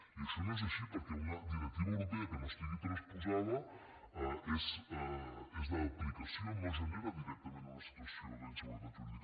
i això no és així perquè una directiva europea que no estigui transposada és d’aplicació no genera directament una situació d’inseguretat jurídica